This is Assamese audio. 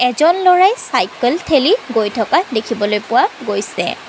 এজন ল'ৰাই চাইকেল ঠেলি গৈ থকা দেখিবলৈ পোৱা গৈছে।